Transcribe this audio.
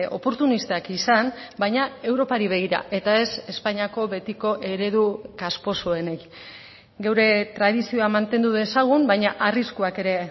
oportunistak izan baina europari begira eta ez espainiako betiko eredu kasposoenek gure tradizioa mantendu dezagun baina arriskuak ere